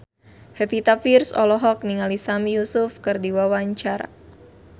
Pevita Pearce olohok ningali Sami Yusuf keur diwawancara